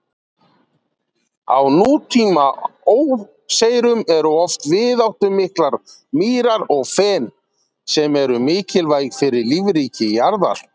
Á nútíma óseyrum eru oft víðáttumiklar mýrar og fen, sem eru mikilvæg fyrir lífríki jarðar.